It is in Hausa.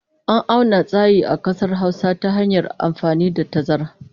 An auna tsayi a ƙasar Hausa ta hanyar amfani da tazara.